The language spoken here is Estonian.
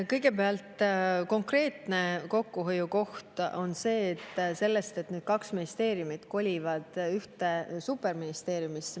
Kõigepealt, konkreetne kokkuhoiukoht tekib sellest, et need kaks ministeeriumi kolivad ühte superministeeriumisse.